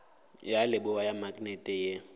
ya leboa ya maknete ye